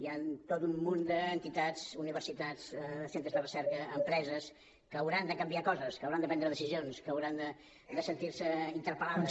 hi han tot un munt d’entitats universitats centres de recerca empreses que hauran de canviar coses que hauran de prendre decisions que hauran de sentir se interpel·lades